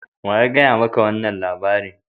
Wa ya gaya ma ka wannan labari?